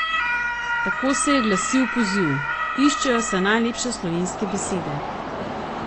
Tako se je glasil poziv: 'Iščejo se najlepše slovenske besede.